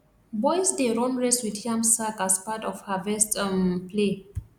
boys dey run race with yam sack as part of harvest um play